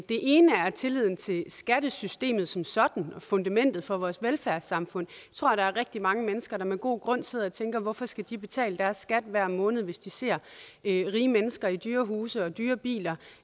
ene er tilliden til skattesystemet som sådan og fundamentet for vores velfærdssamfund tror der er rigtig mange mennesker der med god grund sidder og tænker hvorfor de skal betale deres skat hver måned hvis de ser rige mennesker i dyre huse og dyre biler